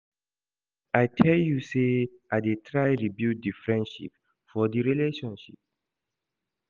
I tell you sey I dey try rebuild di friendship for di relationship.